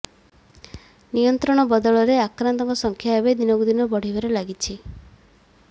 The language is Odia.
ନିୟନ୍ତ୍ରଣ ବଦଳରେ ଆକ୍ରାନ୍ତଙ୍କ ସଂଖ୍ୟା ଏବେ ଦିନକୁ ଦିନ ବଢିବାରେ ଲାଗିଛି